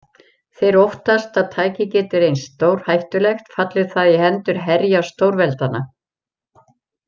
Þeir óttast að tækið geti reynst stórhættulegt falli það í hendur herja stórveldanna.